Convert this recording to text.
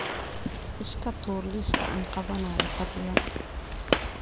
iska tuur liiska aan qabanayo fadlan